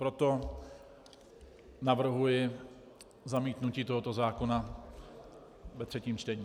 Proto navrhuji zamítnutí tohoto zákona ve třetím čtení.